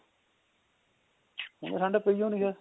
ਹੁਣ ਤਾਂ ਠੰਡ ਪਈ ਓ ਨੀ ਐ